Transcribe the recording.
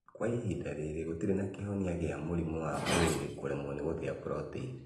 Kwa ihinda rĩrĩ gũtirĩ na kĩhonia gĩa mũrimũ wa mwĩrĩ kũremwo gũthĩa proteini